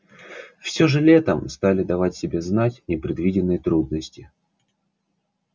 всё же летом стали давать себя знать непредвиденные трудности